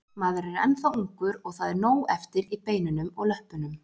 Maður er ennþá ungur og það er nóg eftir í beinunum og löppunum.